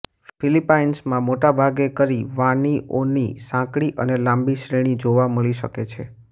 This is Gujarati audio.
ફિલિપાઈન્સમાં મોટા ભાગે કરી વાનીઓની સાંકડી અને લાંબી શ્રેણી જોવા મળી શકે છે